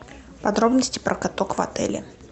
подробности про каток в отеле